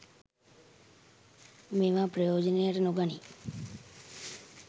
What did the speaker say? මේවා ප්‍රයෝජනයට නොගනී.